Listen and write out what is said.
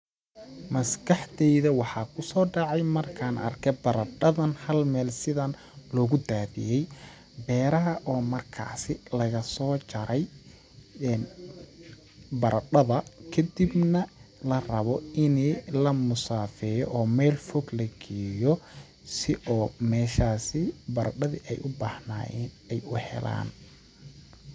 Maskaxdeyda waxaa kusoo dhacay markaan arkay bardhadan hal mele sidaan loogu daadiye beeraha oo markaasi lagasoo jaray, baradhada kadibna la rabo ini la musaafeeyo oo meel fog la geeyo si oo meshaasi baradhadi ay u baahnayeen u helaan.